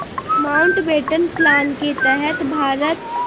Mountbatten plan के तहत भारत